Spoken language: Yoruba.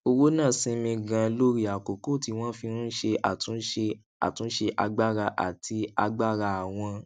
owó náà sinmi ganan lórí àkókò tí wón fi ń ṣe àtúnṣe àtúnṣe agbára àti agbára àwọn